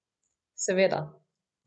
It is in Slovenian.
Seveda.